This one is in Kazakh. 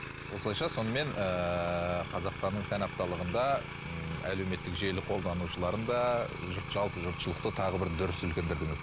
осылайша сонымен ыыы қазақстанның сән апталығында ыыы әлеуметтік желі қолданушыларын да жұрт жалпы жұртшылықты тағы да бір дүр сілкіндірдіңіз